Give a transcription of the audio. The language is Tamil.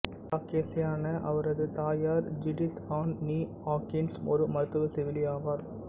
காக்கேசியனான அவரது தாயார் ஜுடித் ஆன் நீ ஹாகின்ஸ் ஒரு மருத்துவ செவிலி ஆவார்